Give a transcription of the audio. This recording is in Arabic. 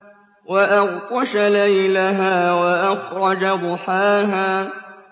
وَأَغْطَشَ لَيْلَهَا وَأَخْرَجَ ضُحَاهَا